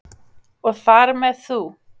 Og þar með þú.